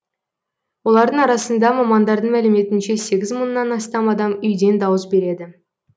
олардың арасында мамандардың мәліметінше сегіз мыңнан астам адам үйден дауыс береді